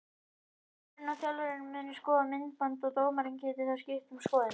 Dómarinn og þjálfarinn munu skoða myndband og dómarinn gæti þá skipt um skoðun.